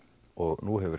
og nú hefur